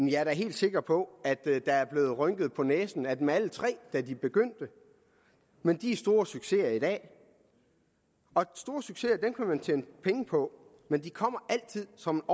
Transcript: jeg er da helt sikker på at der der er blevet rynket på næsen af dem alle tre da de begyndte men de er store succeser i dag og store succeser kan man tjene penge på men de kommer altid som